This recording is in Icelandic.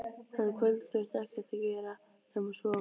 Þetta kvöld þurfti ekkert að gera nema sofa.